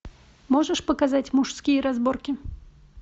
можешь показать мужские разборки